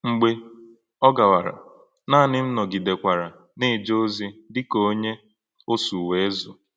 Mḡbè ọ̀ gàwàrà, nanị̄ m̄ nọ̣gidẹ́kwàrā nā-èjè̄ ọ̀zì̄ dị̄ kà ọ̀nyé̄ ọ́sụ̀ ẁézù.